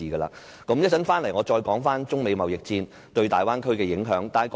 我稍後再返回討論中美貿易戰對大灣區的影響。